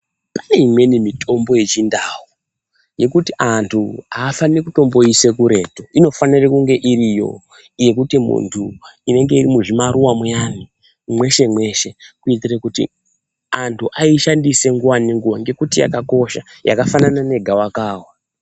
Pane imweni mitombo yechindau yekuti antu haafanire kutomboise kuretu inofanira kunge iriyo, yekuti muntu inenge iri muzvimaruva muyani meshe meshe kuitira kuti antu aishandise nguva nenguva nekuti yakakosha yakafanana negava kava.